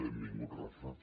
benvingut rafa